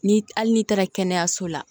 Ni hali n'i taara kɛnɛyaso la